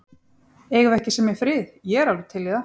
Eigum við ekki að semja frið. ég er alveg til í það.